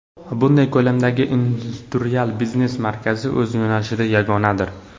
Bunday ko‘lamdagi industrial biznes markazi – o‘z yo‘nalishida yagonadir.